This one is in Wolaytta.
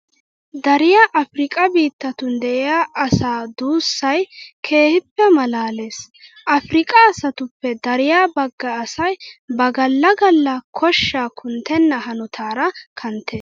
Dariya afirkkaa biittatun de'iya asaa duussay keehippe maalaalees. Afirkkaa asatuppe dariya bagga asay ba galla galla koshshaa kunttenna hanotaara kanttees.